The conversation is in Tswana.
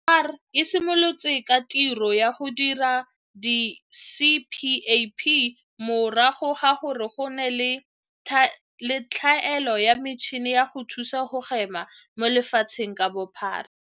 CSIR e simolotse ka tiro ya go dira di-CPAP morago ga gore go nne le tlhaelo ya metšhini ya go thusa go hema mo lefatsheng ka bophara.